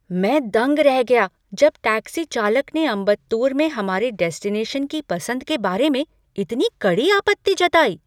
मैं दंग रह गया जब टैक्सी चालक ने अम्बत्तूर में हमारे डेस्टिनेशन की पसंद के बारे में इतनी कड़ी आपत्ति जताई।